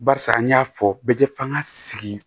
Barisa an y'a fɔ bɛɛ tɛ f'an ka sigi